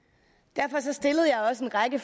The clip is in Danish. derfor stillede jeg også en række